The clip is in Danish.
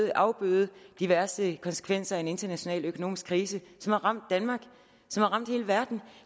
at afbøde de værste konsekvenser af en international økonomisk krise som har ramt danmark som har ramt hele verden